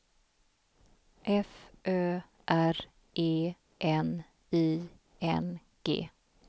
F Ö R E N I N G